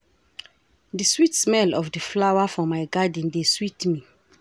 Di sweet smell of di flower for my garden dey sweet me.